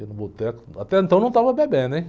Ia no boteco, até então não estava bebendo, hein?